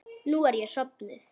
Nú er ég sofnuð.